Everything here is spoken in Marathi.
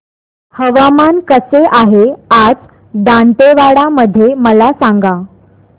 हवामान कसे आहे आज दांतेवाडा मध्ये मला सांगा